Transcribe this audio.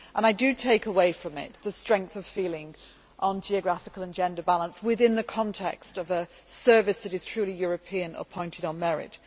I take away with me the strength of feeling on geographical and gender balance within the context of a service that is truly European, appointed on merit.